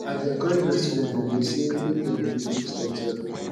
i dey encourage my student dem dem sey make dem dey teach demsef